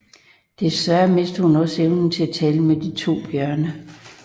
Desværre mister hun også evnen til at tale med de to bjørne